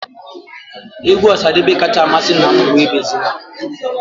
Égwú Osadebe kacha amasị nna m bụ Ebezina.